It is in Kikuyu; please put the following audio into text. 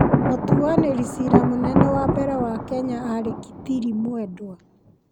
Mũtuanĩri cira mũnene wa mbere wa Kenya aarĩ Kitili Mwendwa.